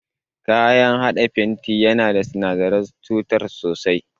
Kayan haɗa fenti yana da sinadaran cutar sosai.